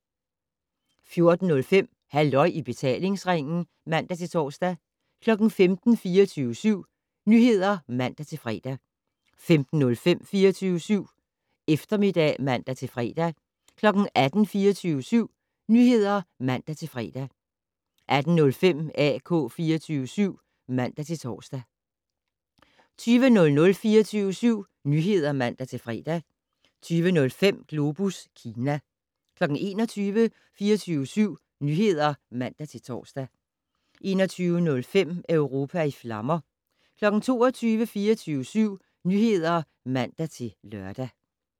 14:05: Halløj i betalingsringen (man-tor) 15:00: 24syv Nyheder (man-fre) 15:05: 24syv Eftermiddag (man-fre) 18:00: 24syv Nyheder (man-fre) 18:05: AK 24syv (man-tor) 20:00: 24syv Nyheder (man-fre) 20:05: Globus Kina 21:00: 24syv Nyheder (man-tor) 21:05: Europa i flammer 22:00: 24syv Nyheder (man-lør)